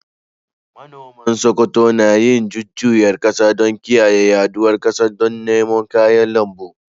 Manoman Sokoto na yin jujjuyawar kasa don kiyaye yaɗuwa ƙasar don noman kayan lambu.